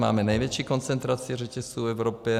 Máme největší koncentraci řetězců v Evropě.